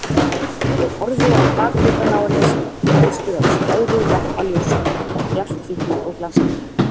Ég horfði á bakhlutann á henni sem var upplýstur af skæru lampaljósinu, mjallhvítur og glansandi.